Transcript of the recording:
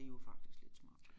Det jo faktisk lidt smart